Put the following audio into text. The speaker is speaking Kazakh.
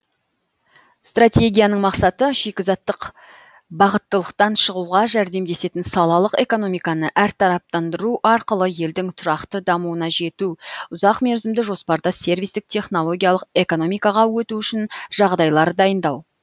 стратегияның мақсаты шикізаттық бағыттылықтан шығуға жәрдемдесетін салалық экономиканы әртараптандыру арқылы елдің тұрақты дамуына жету ұзақ мерзімді жоспарда сервистік технологиялық экономикаға өту үшін жағдайлар дайындау